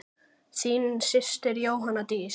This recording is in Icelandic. Þín systir Jóna Dísa.